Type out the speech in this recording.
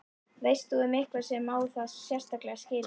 Veist þú um einhvern sem á það sérstaklega skilið?